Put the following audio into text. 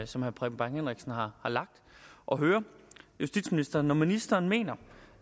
som herre preben bang henriksen har lagt og høre justitsministeren når ministeren mener